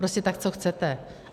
Prostě tak co chcete?